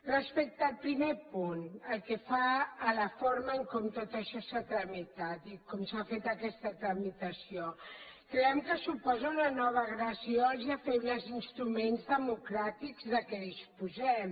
respecte al primer punt pel que fa a la forma com tot això s’ha tramitat i com s’ha fet aquesta tramitació creiem que suposa una nova agressió als ja febles instruments democràtics de què disposem